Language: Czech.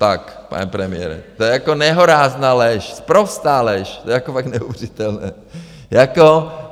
Tak, pane premiére, to je jako nehorázná lež, sprostá lež, to je jako fakt neuvěřitelné jako...